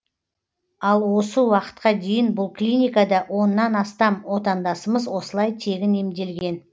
ал осы уақытқа дейін бұл клиникада оннан астам отандасымыз осылай тегін емделген